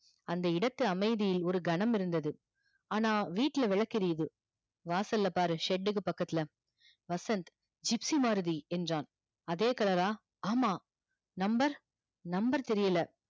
அந்த இடத்து அமைதியில் ஒரு கணம் இருந்தது ஆனா வீட்ல விளக்கு எரியிது வாசல் ல பாரு shed க்கு பக்கத்துல வசந்த் gypsy மாருதி என்றான் அதே colour றா ஆமா number number தெரியல